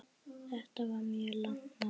Þetta var mjög langt mót.